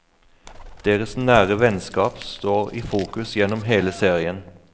Deres nære vennskap står i fokus gjennom hele serien.